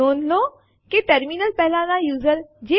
પરંતુ R વિકલ્પ ની મદદથી આપણે આ કરી શકીએ છીએ